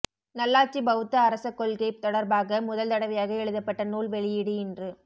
நல்லாட்சி பௌத்த அரச கொள்கை தொடர்பாக முதல் தடவையாக எழுதப்பட்ட நூல் வெளியீடு இன்று